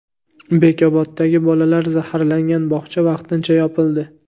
Bekoboddagi bolalar zaharlangan bog‘cha vaqtincha yopildi.